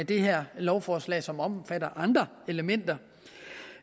det her lovforslag som omfatter andre elementer